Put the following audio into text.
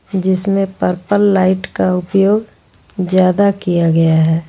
जिसमें purple light का उपयोग ज्यादा किया गया है।